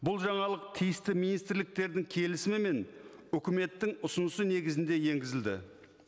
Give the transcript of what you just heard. бұл жаңалық тиісті министрліктердің келісімімен үкіметтің ұсынысы негізінде енгізілді